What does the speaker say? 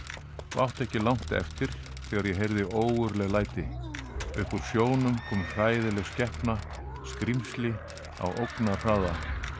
og átti ekki langt eftir þegar ég heyrði ógurleg læti upp úr sjónum kom hræðileg skepna skrímsli á ógnarhraða